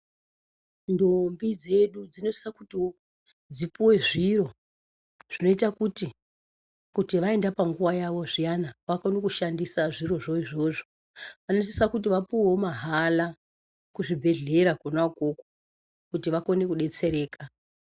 Ntombi dzedu dzinosisawo kuti dzipuwe zviro zvinoita kuti kana vaenda panguwa yavo zviyana vakone kushandisa zvirozvo izvozco. Vanosisa kuti vapuwewo mahala kuchibhehlera kona ukoko kuti vakone kudetsereka.